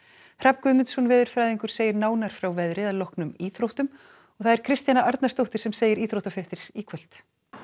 Hrafn Guðmundsson veðurfræðingur segir nánar frá veðri að loknum íþróttum það er Kristjana Arnarsdóttir sem segir íþróttafréttir í kvöld